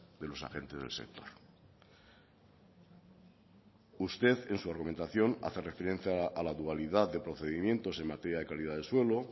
de los agentes del sector usted en su argumentación hace referencia a la dualidad de procedimientos en materia de calidad de suelo